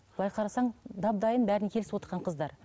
былай қарасаң дап дайын бәріне келісівотқан қыздар